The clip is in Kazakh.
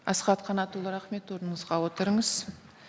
асхат қанатұлы рахмет орныңызға отырыңыз